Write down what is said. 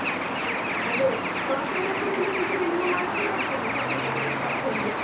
ಅದೇ ಕಾಫೀ ಎಲ್ಲ ಕುಡಿಲಿಕ್ಕೆ ಸೀದ ನಿಮ್ಮ ಮನೆಗೆ ಬರ್ತೇನೆ family ಯವರನ್ನು ಕರ್ಕೊಂಡು.